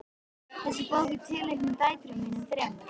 Þessi bók er tileinkuð dætrum mínum þremur.